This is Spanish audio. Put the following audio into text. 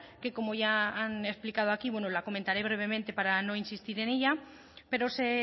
que como ya han explicado aquí bueno la comentaré brevemente para no insistir en ella pero se